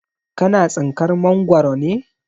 Ka na tsinkar Mangwaro ne?